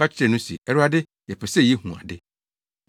Wɔka kyerɛɛ no se, “Awurade, yɛpɛ sɛ yehu ade!”